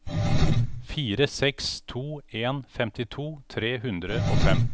fire seks to en femtito tre hundre og fem